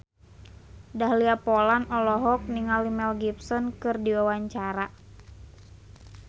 Dahlia Poland olohok ningali Mel Gibson keur diwawancara